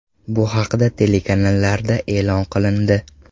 Bu haqda telekanallarda e’lon qilindi.